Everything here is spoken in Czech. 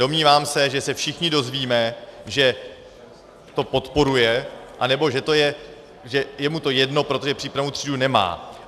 Domnívám se, že se všichni dozvíme, že to podporuje, anebo že je mu to jedno, protože přípravnou třídu nemá.